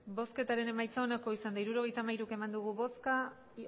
hirurogeita hamairu eman dugu bozka